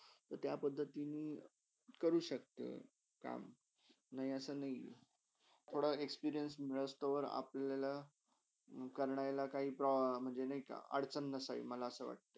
त्या पदधातिणी करू शक्त काम, नय असा नय हय थोडा experience मिळसतव अपल्याला करायला म्हणजे नाही का अडचण नसईल. मला असा